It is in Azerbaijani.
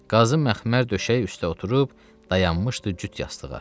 Qazın məxmər döşək üstə oturub dayanmışdı cüt yastığa.